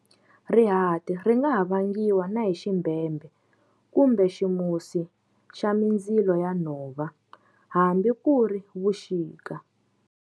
Rihati ringa ha vangiwa na hi ximbhembhe, kumbe ximusi xa mindzilo ya nhova, hambi ku ri vuxika.